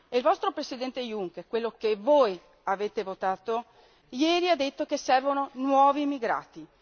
Il vostro Presidente Juncker, quello che voi avete votato, ieri ha detto che servono nuovi migrati.